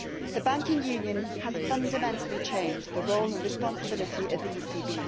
The Banking Union has fundamentally changed the role and responsibility of the ECB.